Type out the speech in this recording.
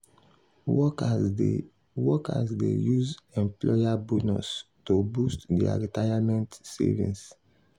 workers dey workers dey use employer bonus to boost their retirement savings.